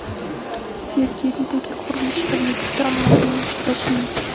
Sergelidagi qurilish obyektida ommaviy mushtlashuv yuz berdi .